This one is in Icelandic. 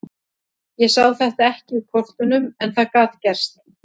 Ég sá þetta ekki í kortunum en það gat gerst.